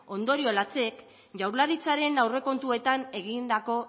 ondorio latzek jaurlaritzaren aurrekontuetan egindako